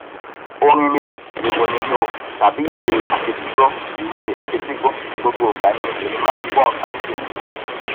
orin ni o ìròhìn ní o tàbí ìwé àfetígbọ ìwé àfetígbọ gbogbo ìgbà ni èmi máa ngbọ nkan ní tèmi